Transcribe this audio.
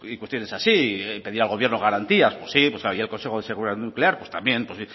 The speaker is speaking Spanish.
cuestiones así pedir al gobierno garantías pues sí pues y al consejo de seguridad nuclear pues también